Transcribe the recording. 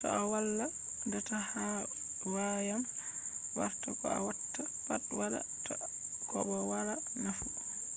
to a wala data ha wayama warta ko a watta pat wada ta ko bo wala nafu